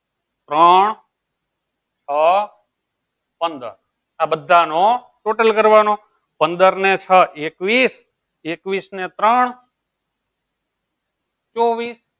ત્રણ આ પંદર આ બધા નો total કરવાનો પંદર ને છ એકવીસ એકવીસ ને ત્રણ ચૌવીસ